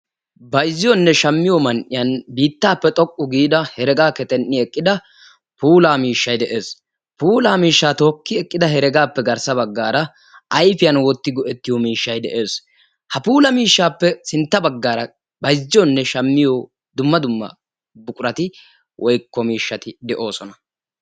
bayzziyonne shammiyo keettan heregaappe xoqqu gi eqqida puulaa miishshay des. puulaa miishshaa ookki eqqida heregaappe garssa bagaara ayfiyan wottiyo miishshay des. ha puula miishshaappe garssa bagaara bayzziyoone shammiyo puula miishshati de'oosona.